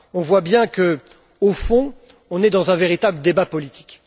On voit que, au fond on est dans un véritable débat politique.